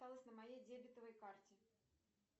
осталось на моей дебетовой карте